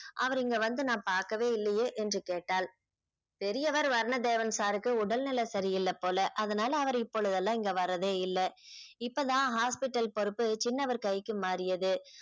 அவர் இங்க வந்து நான் பாக்கவே இல்லையே என்று கேட்டாள் பெரியவர் வர்ணதேவன் sir க்கு உடல்நிலை சரியில்ல போல அதனால அவரு இப்பொழுதெல்லாம் இங்க வரதே இல்ல இப்பதான் hospital பொறுப்பு சின்னவர் கைக்கு மாறியது